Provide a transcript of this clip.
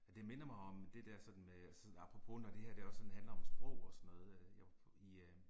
Det minder mig om det der sådan med apropos når det her det også sådan handler om sprog og sådan noget jeg var i øh